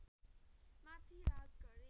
माथि राज गरे